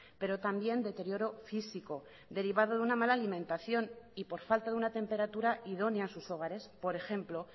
pero también deterioro físico derivado de una mala alimentación y por falta de una temperatura idónea en sus hogares por ejemplo